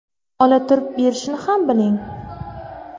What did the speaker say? Ola turib, berishni ham biling.